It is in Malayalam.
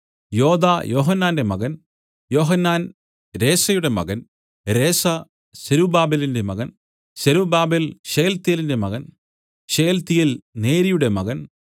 യോദാ യോഹന്നാന്റെ മകൻ യോഹന്നാൻ രേസയുടെ മകൻ രേസ സെരുബ്ബാബേലിന്റെ മകൻ സൊരൊബാബേൽ ശെയല്തീയേലിന്റെ മകൻ ശെയല്തീയേൽ നേരിയുടെ മകൻ